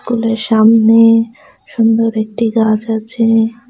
স্কুলের সামনে সুন্দর একটি গাছ আছে।